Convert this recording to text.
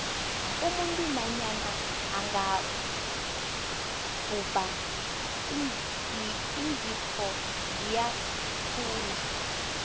umuntu nanyana angabhubha iinzipho ziyakhula